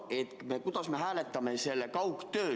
Kuidas me ikkagi hääletame kaugtöö suhtes?